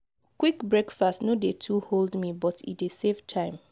quick breakfast no dey too hold me but e dey save time.